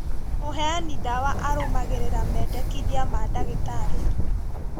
Mũheani ndawa arũmagĩrĩra mendekithia ma ndagĩtarĩ